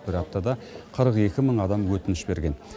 бір аптада қырық екі мың адам өтініш берген